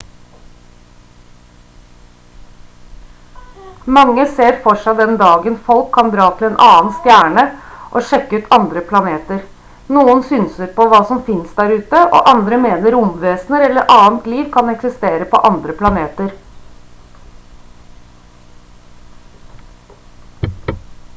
mange ser for seg den dagen folk kan dra til en annen stjerne og sjekke ut andre planeter noen synser på hva som finnes der ute og andre mener romvesener eller annet liv kan eksistere på andre planeter